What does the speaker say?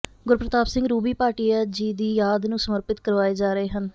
ਗੁਰਪ੍ਰਤਾਪ ਸਿੰਘ ਰੂਬੀ ਭਾਟੀਆ ਜੀ ਦੀ ਯਾਦ ਨੂੰ ਸਮਰਪਿਤ ਕਰਵਾਏ ਜਾ ਰਹੇ ਹਨ